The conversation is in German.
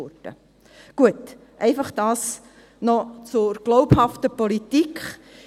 Gut, dies einfach noch zur glaubhaften Politik.